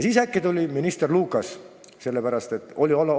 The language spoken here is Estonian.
Siis äkki tuli minister Lukas tähtajatu töölepingu mõttega.